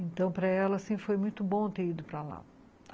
Então, para ela, assim, foi muito bom ter ido para lá.